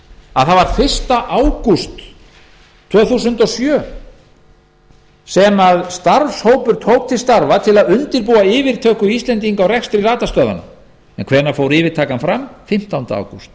að það var fyrsta ágúst tvö þúsund og sjö sem starfshópur tók til starfa til að undirbúa yfirtöku íslendinga á rekstri radarstöðvanna en hvenær fór yfirtakan fram fimmtánda ágúst